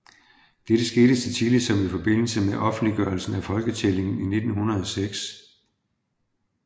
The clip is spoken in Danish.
Dette skete så tidligt som i forbindelse med offentliggørelsen af folketællingen 1906